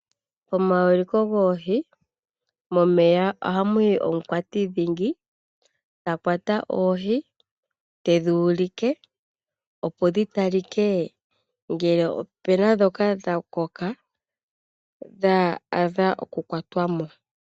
Komaulikilo goohi , momeya oha muyi omukwati dhingi ta kwata oohi tedhi ulike , opo dhi talike ngele opena dhoka dha koka dha adha oku kwatwa mo .